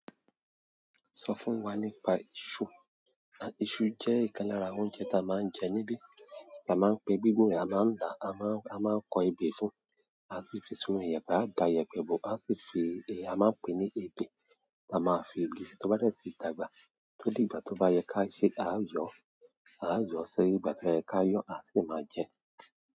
Sọ fún wa nípa iṣu. Iṣu jẹ́ nkan lára oúnjẹ ta máa ń jẹ níbí. Ta máa ń pe gbíngbin a máa ń tà, a máa ń, a máa ń kọ ebè fún, a sì fi isu yen, a da iyẹpẹ bò, a sì fi, a máa ń pe ní ebè. Ta máa ń fi gbin to bá dẹ̀ ti dàgbà tó di ìgbà tó bá yẹ kí a ṣe, a yọ, a yọ sí ìgbà tí ó ba yẹ kí a yọ, a sì máa jẹ ẹ́.